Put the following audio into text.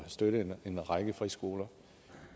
støtte en række friskoler